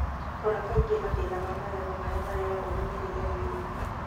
Rora kaingĩ mathĩna ma magego marĩa marehagwo na mĩrĩre mĩoru